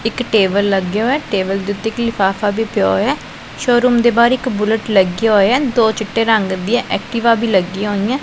ਇੱਕ ਟੇਬਲ ਲੱਗਿਆ ਹੋਇਆ ਹੈ ਟੇਬਲ ਦੇ ਓੱਤੇ ਇੱਕ ਲਿਫ਼ਾਫ਼ਾ ਵੀ ਪਿਆ ਹੋਇਆ ਹੈ ਸ਼ੋਰੂਮ ਦੇ ਬਾਹਰ ਇੱਕ ਬੁੱਲਟ ਲੱਗਿਆ ਹੋਇਆ ਹੈ ਦੋ ਚਿੱਟੇ ਰੰਗ ਦਿਆਂ ਐਕਟਿਵਾ ਵੀ ਲੱਗਿਆਂ ਹੋਈਆਂ।